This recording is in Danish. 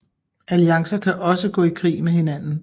Alliancer kan også gå i krig med hinanden